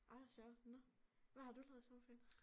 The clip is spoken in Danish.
Ej hvor sjovt nåh hvad har du lavet i sommerferien